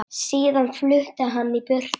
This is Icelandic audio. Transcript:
Síðan flutti hann í burtu.